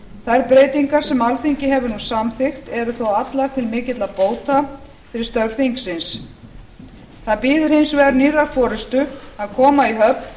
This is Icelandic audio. þær breytingar sem alþingi hefur nú samþykkt eru þó allar til mikilla bóta fyrir störf þingsins það bíður hins vegar nýrrar forustu að koma í höfn